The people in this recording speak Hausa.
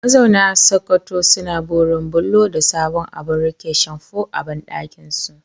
Mazauna Sokoto suna burin bullo da sabon abun rike shamfu a bandakinsu.